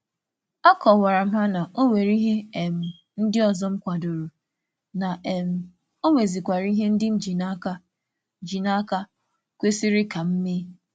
A kọwara m na m na-akwàdó ndị ọzọ, ya mere aghaghị m ịtụgharị ọrụ m nke ego.